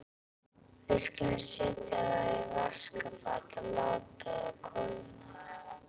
Við skulum setja þá í vaskafat og láta þá kólna.